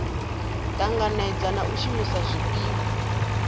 tanganedza na u shumisa zwifhiwa